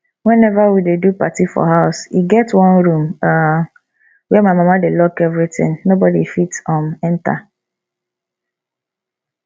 whenever we dey do party for house e get one room um where my mama dey lock everything nobody fit um enter